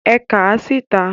É kàà síta!